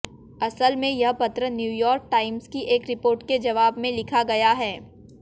असल में यह पत्र न्यूयॉर्क टाइम्स की एक रिपोर्ट के जवाब में लिखा गया है